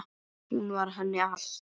Hún var henni allt.